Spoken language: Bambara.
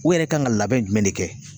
U yɛrɛ kan ka labɛn jumɛn de kɛ